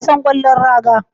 Wasan kwallon raga